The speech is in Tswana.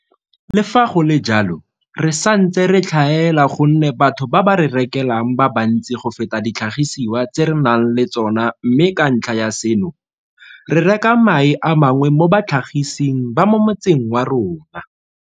Le fa go le jalo, re santse re tlhaela gonne batho ba ba re rekelang ba bantsi go feta ditlhagisiwa tse re nang le tsona mme ka ntlha ya seno, re reka mae a mangwe mo batlhagising ba mo motseng wa rona.